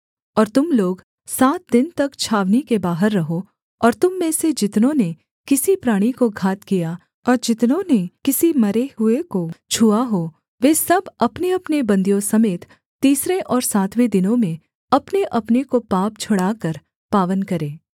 और तुम लोग सात दिन तक छावनी के बाहर रहो और तुम में से जितनों ने किसी प्राणी को घात किया और जितनों ने किसी मरे हुए को छुआ हो वे सब अपनेअपने बन्दियों समेत तीसरे और सातवें दिनों में अपनेअपने को पाप छुड़ाकर पावन करें